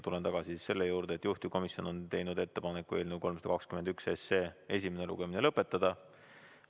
Tulen tagasi selle juurde, et juhtivkomisjon on teinud ettepaneku eelnõu 321 esimene lugemine lõpetada.